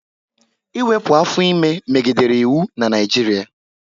Ịwepụ afọ ime megidere iwu na Naijiria